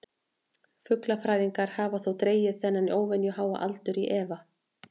Fuglafræðingar hafa þó dregið þennan óvenju háa aldur í efa.